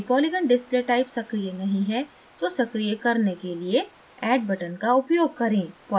यदि polygon display type सक्रीय नहीं है तो सक्रीय करने के लिए add button का उपयोग करें